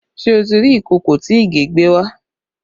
Ṣé o ti rí ìkòkò tí Ìgè gbé wá?